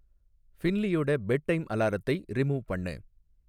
ஃபின்லீயோட bed time அலாரத்தை remove பண்ணு